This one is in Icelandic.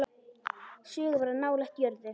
Sögur of nálægt jörðu.